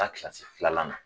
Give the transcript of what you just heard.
Taa kilasi filanan na.